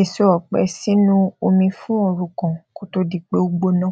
èso òpẹ sínú omi fún òru kan kó tó di pé ó gbóná